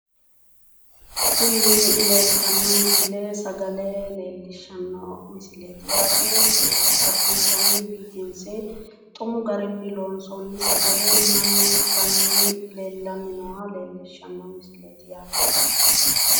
tinni leeltano miisile sagale leellishano misileeti yaate addintanni biffinse xumu garinni loonsoonni sagale mannu itanni nooha leellishshanno misileeti yaate.